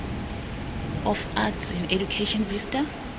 of arts in education vista